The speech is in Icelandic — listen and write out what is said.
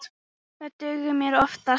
Það dugir mér oftast.